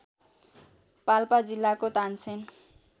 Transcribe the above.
पाल्पा जिल्लाको तानसेन